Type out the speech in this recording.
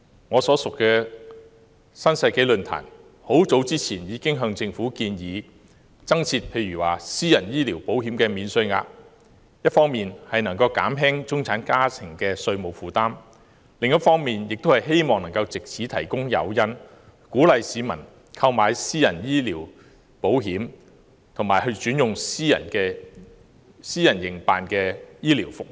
我所屬的新世紀論壇很早以前已向政府建議增設"私人醫療保險免稅額"，一方面可減輕中產家庭的稅務負擔，另一方面亦可藉此提供誘因鼓勵市民購買私人醫療保險，以及轉用私人營辦的醫療服務。